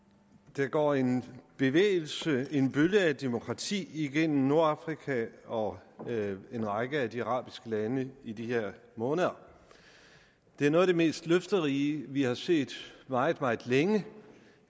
der går en bevægelse en bølge af demokrati igennem nordafrika og en række af de arabiske lande i de her måneder det er noget af det mest løfterige vi har set meget meget længe